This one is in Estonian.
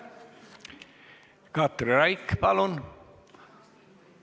Katri Raik, palun!